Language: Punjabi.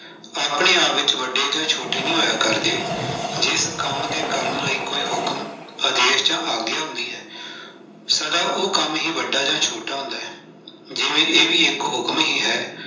ਆਪਣੇ ਆਪ ਵਿੱਚ ਵੱਡੇ ਜਾਂ ਛੋਟੇ ਨਹੀਂ ਹੋਇਆ ਕਰਦੇ, ਜਿਸ ਕੰਮ ਦੇ ਕਰਨ ਲਈ ਕੋਈ ਹੁਕਮ, ਆਦੇਸ਼ ਜਾਂ ਆਗਿਆ ਨਹੀਂ ਹੈ, ਸਦਾ ਉਹ ਕੰਮ ਹੀ ਵੱਡਾ ਜਾਂ ਛੋਟਾ ਹੁੰਦਾ ਹੈ, ਜਿਵੇਂ ਇਹ ਵੀ ਇੱਕ ਹੁਕਮ ਹੀ ਹੈ।